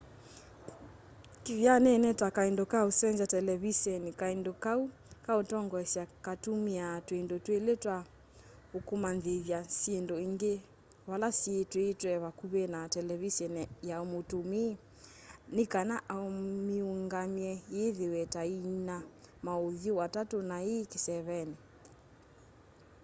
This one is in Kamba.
kithyanene ta kaindo ka usenzya televiseni kaindo kau ka utongoesya katumiaa twindu twili twa ukamanyithya syindu ingi vala syii twiitwe vakuvi na televiseni ya mutumii ni kana amiungamye yithiwe ta iina mauthyu atatu na ii kiseveni